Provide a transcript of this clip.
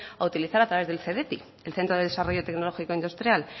a utilizar a través del cdti el centro de desarrollo tecnológico industrial